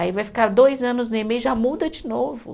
Aí vai ficar dois anos no Emei e já muda de novo.